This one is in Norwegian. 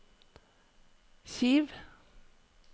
Kiev